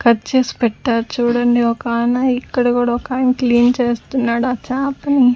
Cut చేసి పెట్టారు చూడండి ఒకాయన ఇక్కడ కూడా ఒకాయన క్లీన్ చేస్తున్నాడు ఆ చాపని.